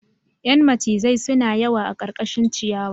Yan macizai suna yawa a karkashin ciyawa